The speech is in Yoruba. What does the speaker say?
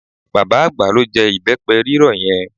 Bàbá àgbà ló jẹ ìbẹ́pẹ rírọ̀ yẹn.